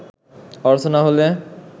অর্থ না হলে